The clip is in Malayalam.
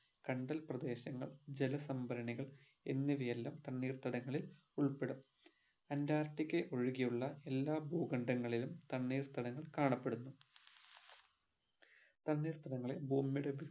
കണ്ടൽ പ്രദേശങ്ങൾ ജല സംഭരണികൾ എന്നിവ എല്ലാം തണ്ണീർത്തടങ്ങളിൽ ഉൾപ്പെടും അന്റാർട്ടിക്ക ഒഴികെ ഉള്ള എല്ലാ ഭൂകണ്ഡങ്ങളിലും തണ്ണീർത്തടങ്ങൾ കാണപ്പെടുന്നു തണ്ണീർത്തടങ്ങൾ ഭൂമിയുടെ